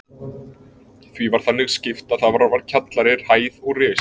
Því var þannig skipt að þar var kjallari, hæð og ris.